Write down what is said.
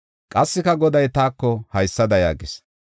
Qassika Goday taako haysada yaagis.